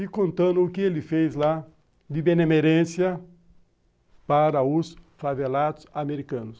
E contando o que ele fez lá de benemerência para os favelados americanos.